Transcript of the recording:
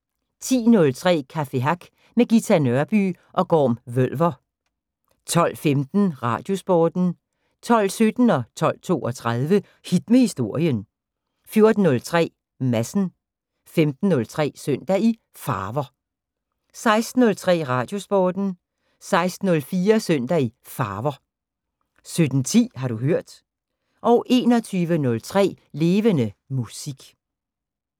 10:03: Café Hack med Ghita Nørby og Gorm Vølver 12:15: Radiosporten 12:17: Hit med Historien 12:32: Hit med Historien 14:03: Madsen 15:03: Søndag i Farver 16:03: Radiosporten 16:04: Søndag i Farver 17:10: Har du hørt 21:03: Levende Musik